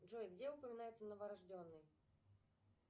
джой где упоминается новорожденный